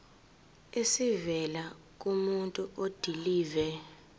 esivela kumuntu odilive